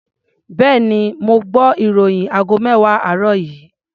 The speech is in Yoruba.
Bẹ́ẹ̀ni, mo gbọ́ ìròyìn aago mẹ́wàá àárọ̀ yìí.